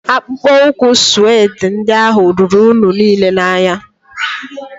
Akpụkpọ ụkwụ sụedị ndị ahụ ruru unyi n'ile ya anya